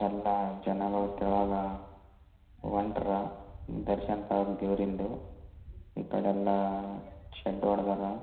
ಎಲ್ಲ ಜನಗಳು ತಳದಾಗ ಹೊಂಟ್ರ ದರ್ಶನ ತಗೋಳಕ ದೇವ್ರಿಂದು ಈ ಕಡೆ ಎಲ್ಲ ಷಡ್ ಹೊಡೆದರ.